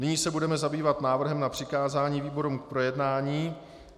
Nyní se budeme zabývat návrhem na přikázání výborům k projednání.